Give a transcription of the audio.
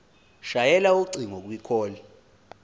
shayela ucingo kwicall